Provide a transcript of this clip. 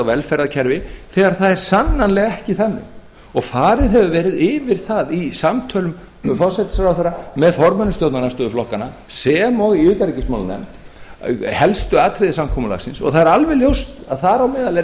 á velferðarkerfi þegar það er sannanlega ekki þannig og farið hefur verið yfir það í samtölum forsætisráðherra með formönnum stjórnarandstöðuflokkanna sem og í utanríkismálanefnd helstu atriði samkomulagsins það er alveg ljóst að þar á meðal er